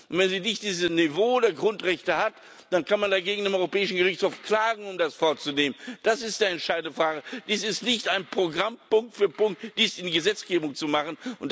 Und wenn sie nicht dieses Niveau der Grundrechte hat, dann kann man dagegen beim Europäischen Gerichtshof klagen, um das vorzunehmen. Das ist die entscheidende Frage. Es ist nicht ein Programm Punkt für Punkt, dies in Gesetzgebung zu machen.